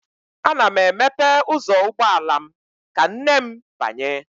Ana m emepe ụzọ ụgbọala m ka nne m banye